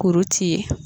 Kuru ci ye